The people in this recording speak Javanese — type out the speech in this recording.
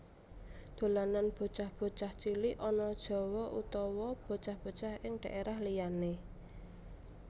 Dolanan bocah bocah cilik ana Jawa utawa bocah bocah ing dhaérah liyané